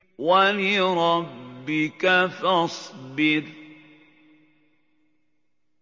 وَلِرَبِّكَ فَاصْبِرْ